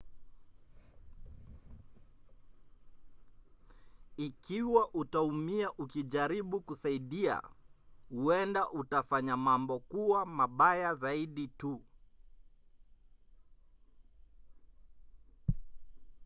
ikiwa utaumia ukijaribu kusaidia huenda utafanya mambo kuwa mabaya zaidi tu